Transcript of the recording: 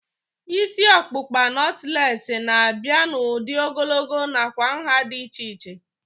Isi ọkpụkpa nọtlees na-abịa n'udi ogologo nakwa nhá dị iche iche